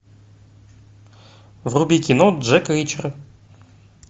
вруби кино джек ричер